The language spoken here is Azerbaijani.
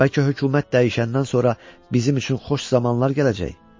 Bəlkə hökumət dəyişəndən sonra bizim üçün xoş zamanlar gələcək?